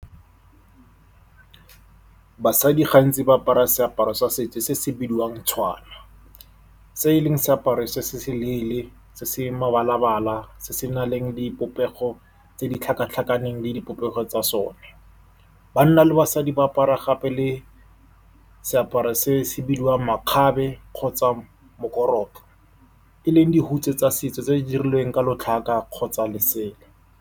Basadi gantsi ba apara seaparo sa setso se se bidiwang tshwana, se e leng seaparo se se leele se se mebala-bala, se se nang le dipopego tse di tlhakatlhakaneng le dipopego tsa sone. Banna le basadi ba apara gape le seaparo se se bidiwang makgabe kgotsa mokorotlo, e leng dihutshe tsa setso tse di dirilweng ka lotlhaka kgotsa lesela.